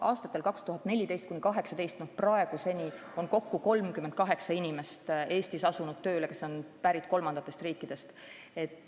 Aastatel 2014–2018 on Eestis asunud tööle 38 inimest, kes on pärit kolmandatest riikidest.